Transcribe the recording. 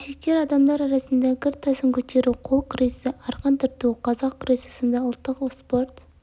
ересек адамдар арасында гір тасын көтеру қол күресі арқан тарту қазақ күресі сынды ұлттық спорт